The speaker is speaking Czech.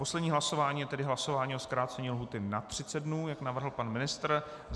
Poslední hlasování je tedy hlasování o zkrácení lhůty na 30 dnů, jak navrhl pan ministr.